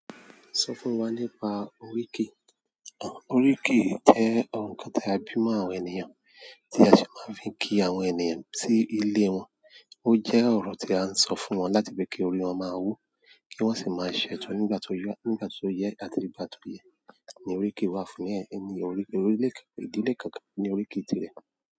Sọ fún wa nípa oríkì. Oríkì jẹ́ ohun kan tí a bímọ àwọn ènìyàn, tí a sì máa ń fi kí àwọn ènìyàn sí ilé wọn. Ó jẹ́ ọ̀rọ̀ tí à ń sọ fún wọn láti fi kí orí wọn máa wú, kí wọ́n sì máa ṣẹ́tọ nígbà tó yẹ àti nígbà tó yẹ. Ní oríkì wa fún ẹni orí ilé, ìdílé kankan ní oríkì tirẹ̀.